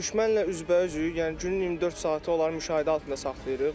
Düşmənlə üzbəüzük, yəni günün 24 saatı onları müşahidə altında saxlayırıq.